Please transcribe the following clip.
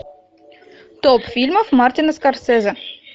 топ фильмов мартина скорсезе